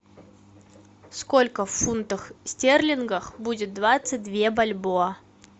сколько в фунтах стерлингах будет двадцать две бальбоа